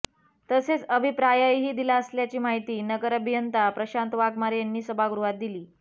तसेच अभिप्रायही दिला असल्याची माहिती नगर अभियंता प्रशांत वाघमारे यांनी सभागृहात दिली